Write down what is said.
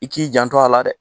I k'i janto a la dɛ